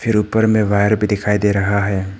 ऊपर में वायर भी दिखाई दे रहा है।